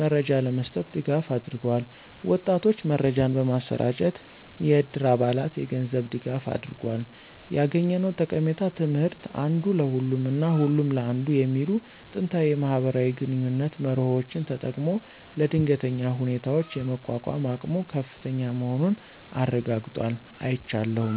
መረጃ ለመስጠት ድጋፍ አድርገዋል። ወጣቶች መረጃን በማሰራጨት፣ የዕድር አባላት የገንዝብ ድጋፋ አድርጎል። ያገኘነው ጠቃሚ ትምህርት (አንዱ ለሁሉም እና ሁሉም ለአንዱ) የሚሉ ጥንታዊ የማህበራዊ ግንኙነት መርሆዎችን ተጠቅሞ ለድንገተኛ ሁኔታዎች የመቋቋም አቅሙ ከፍተኛ መሆኑን አረጋግጧል። አይቻለሁም።